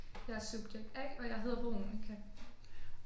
Jeg er subjekt A og jeg hedder Veronica